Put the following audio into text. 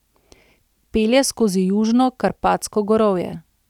Pelje skozi južno Karpatsko gorovje.